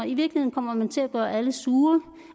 i virkeligheden kommer man til at gøre alle sure